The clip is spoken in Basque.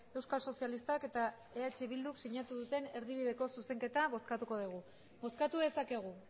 euskal sozialistak eta eh bilduk sinatu duten erdibideko zuzenketa bozkatuko dugu bozkatu dezakegu